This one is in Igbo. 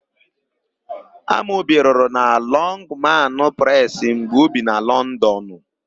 Amobi rụrụ na Lọngmanụ Presị mgbe o bi na Lọndọnụ.